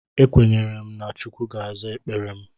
Ekwenyere na Chukwu ga-aza ekpere m.